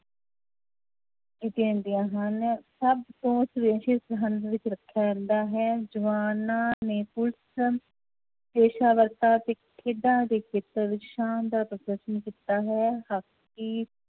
ਹਨ ਸਭ ਤੋਂ ਵਿੱਚ ਰੱਖਿਆ ਜਾਂਦਾ ਹੈ ਜਵਾਨਾਂ ਨੇ ਪੁਲਿਸ ਪੇਸ਼ਾਵਰਤਾ ਅਤੇ ਖੇਡਾਂ ਦੇ ਖੇਤਰ ਵਿੱਚ ਸ਼ਾਨਦਾਰ ਪ੍ਰਦਰਸ਼ਨ ਕੀਤਾ ਹੈ ਹਾਕੀ